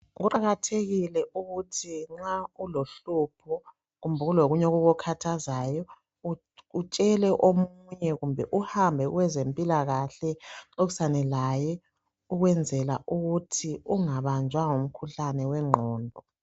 Kuqakathekile ukuthi nxa ulohlupho kumbe kulokunye okukukhathazayo utshele omunye kumbe uhambe kwabezempilakahle uxoxisane laye okwenzela ukuthi ungabanjwa ngumkhuhlane wengqondo.